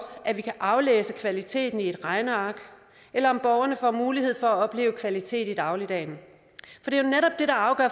at vi kan aflæse kvaliteten i et regneark eller om borgerne får mulighed for at opleve kvalitet i dagligdagen